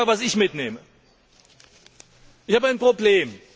Ich sage Ihnen, was ich mitnehme Ich habe ein Problem.